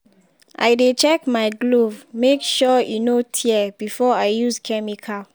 i dey check my glove make sure e no tear before i use chemical.